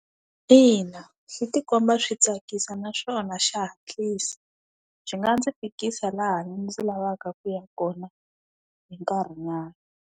Ina, swi ti komba swi tsakisa naswona xa hatlisa. Xi nga ndzi fikisa laha ndzi lavaka ku ya kona, hi nkarhi nyana.